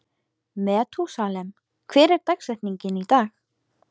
Methúsalem, hver er dagsetningin í dag?